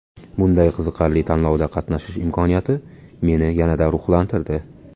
Bunday qiziqarli tanlovda qatnashish imkoniyati meni yanada ruhlantirdi.